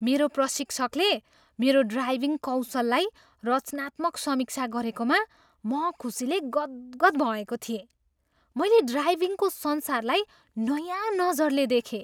मेरा प्रशिक्षकले मेरो ड्राइभिङ कौशललाई रचनात्मक समीक्षा गरेकामा म खुसीले गदगद भएको थिएँ। मैले ड्राइभिङको संसारलाई नयाँ नजरले देखेँ।